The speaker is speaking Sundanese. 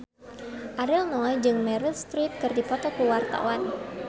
Ariel Noah jeung Meryl Streep keur dipoto ku wartawan